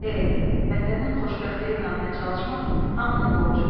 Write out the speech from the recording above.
E. Vətənin xoşbəxtliyi naminə çalışmaq hamının borcudur.